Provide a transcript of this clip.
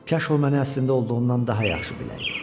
Kaş o mənə əslində olduğundan daha yaxşı biləydi.